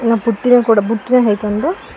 ಆ ಬುಟ್ಟಿದ ಕೊಡಬು ಬುಟ್ಟಿಯ ಅಯ್ ತಂದು--